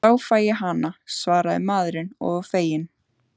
Þá fæ ég hana, svaraði maðurinn og var feginn.